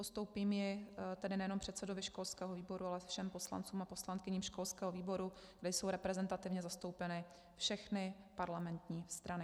Postoupím ji tedy nejenom předsedovi školského výboru, ale všem poslancům a poslankyním školského výboru, kde jsou reprezentativně zastoupeny všechny parlamentní strany.